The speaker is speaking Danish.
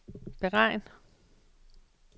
beregn